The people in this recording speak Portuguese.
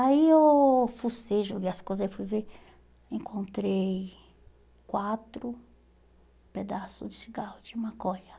Aí eu fucei, joguei as coisas, aí fui ver, encontrei quatro pedaços de cigarro de maconha.